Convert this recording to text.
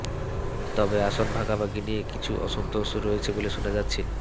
তবে আসন ভাগাভাগি নিয়ে কিছু অসন্তোষ রয়েছে বলে শোনা যাচ্ছে